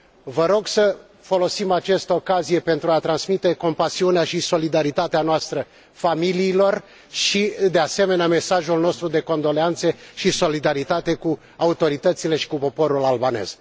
Vă rog să folosim această ocazie pentru a transmite compasiunea și solidaritatea noastră familiilor și, de asemenea, mesajul nostru de condoleanțe și solidaritate cu autoritățile și cu poporul albanez.